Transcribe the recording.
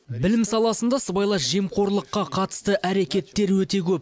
білім саласында сыбайлас жемқорлыққа қатысты әрекеттер өте көп